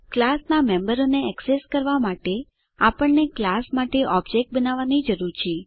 ક્લાસનાં મેમ્બરોને એક્સેસ કરવા માટે આપણને ક્લાસ માટે ઓબજેક્ટ બનાવવાની જરૂર છે